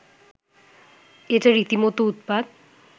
এটা রীতিমতো উৎপাত